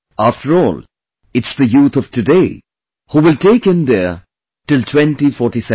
After all, it's the youth of today, who will take are today will take India till 2047